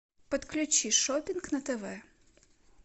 подключи шоппинг на тв